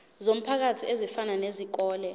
zomphakathi ezifana nezikole